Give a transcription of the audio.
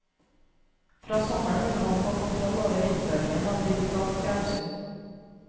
Fra sommeren vil han få kontroll over innføringen av digitalt fjernsyn.